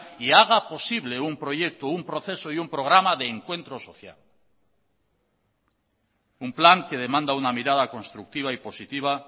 y haga posible un proyecto un proceso y un programa de encuentro social un plan que demanda una mirada constructiva y positiva